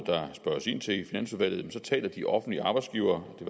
i finansudvalget ind til taler de offentlige arbejdsgivere det